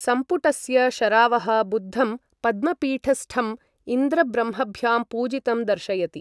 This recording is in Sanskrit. संपुटस्य शरावः बुद्धं पद्मपीठस्ठम् इन्द्रब्रह्मभ्यां पूजितं दर्शयति।